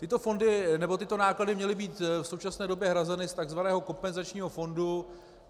Tyto fondy nebo tyto náklady měly být v současné době hrazeny z tzv. kompenzačního fondu.